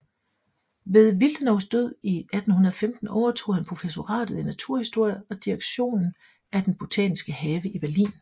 Ved Willdenows død 1815 overtog han professoratet i naturhistorie og direktionen af den botaniske have i Berlin